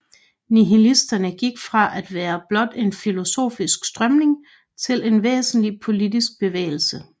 Nihilisterne gik fra at være blot en filosofisk strømning til en væsentlig politisk bevægelse